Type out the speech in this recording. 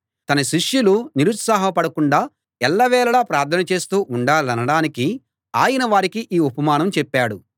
తన శిష్యులు నిరుత్సాహపడకుండా ఎల్ల వేళలా ప్రార్థన చేస్తూ ఉండాలనడానికి ఆయన వారికి ఈ ఉపమానం చెప్పాడు